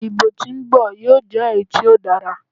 Idibo ti o nbọ yoo jẹ eyi ti o dara